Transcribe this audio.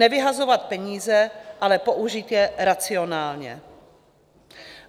Nevyhazovat peníze, ale použít je racionálně.